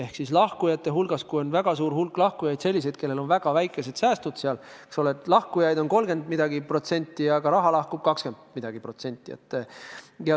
Kui lahkujate hulgas on väga palju selliseid inimesi, kellel on väikesed säästud, siis lahkujaid võib olla mingi 30%, aga raha lahkub umbes 20%.